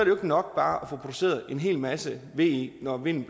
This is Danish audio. jo ikke nok bare at få produceret en hel masse ve når vinden